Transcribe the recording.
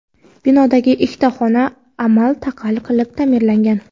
Binodagi ikkita xona amal-taqal qilib ta’mirlangan.